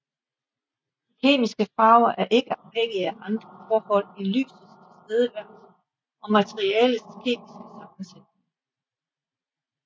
De kemiske farver er ikke afhængige af andre forhold end lysets tilstedeværelse og materialets kemiske sammensætning